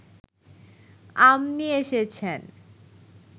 আম নিয়ে এসেছেন